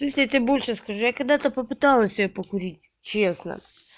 то есть я тебе больше скажу я когда-то попыталась её покурить честно